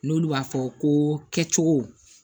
N'olu b'a fɔ ko kɛcogo